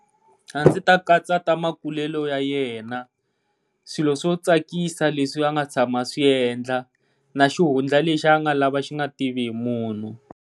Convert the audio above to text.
A ndzi ta katsata makulelo ya yena, swilo swo tsakisa leswi a nga tshama swiendla na xihundla lexi a nga lava xi nga tiviwi hi munhu.